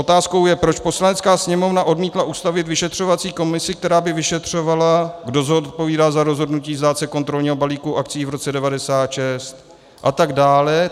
Otázkou je, proč Poslanecká sněmovna odmítla ustavit vyšetřovací komisi, která by vyšetřovala, kdo zodpovídá za rozhodnutí vzdát se kontrolního balíku akcií v roce 1996, a tak dále.